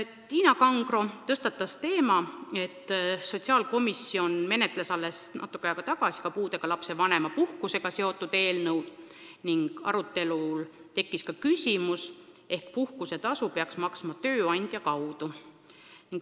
Tiina Kangro tõstatas teema, et sotsiaalkomisjon menetles alles natuke aega tagasi puudega lapse vanema puhkusega seotud eelnõu ning arutelul tekkis ka küsimus, ehk peaks puhkusetasu maksma tööandja kaudu.